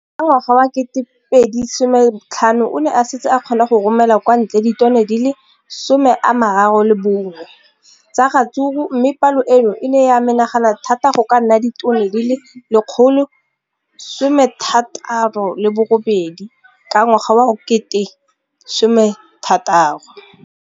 Ka ngwaga wa 2015, o ne a setse a kgona go romela kwa ntle ditone di le 31 tsa ratsuru mme palo eno e ne ya menagana thata go ka nna ditone di le 168 ka ngwaga wa 2016.